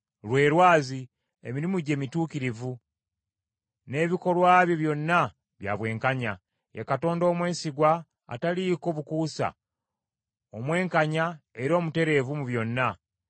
Lwe lwazi, emirimu gye mituukirivu, n’ebikolwa bye byonna bya bwenkanya. Ye Katonda omwesigwa, ataliiko bukuusa, omwenkanya era omutereevu mu byonna.